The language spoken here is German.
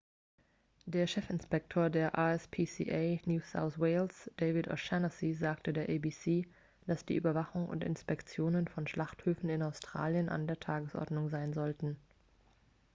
der chefinspektor der rspca new south wales david o'shannessy sagte der abc dass die überwachung und inspektionen von schlachthöfen in australien an der tagesordnung sein sollten